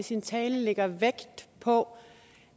i sin tale lægger vægt på